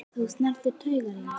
Þú snertir taugar í mér.